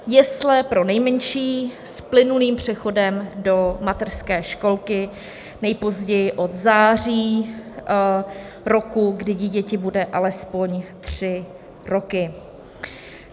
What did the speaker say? jesle pro nejmenší s plynulým přechodem do mateřské školky nejpozději od září roku, kdy dítěti budou alespoň tři roky.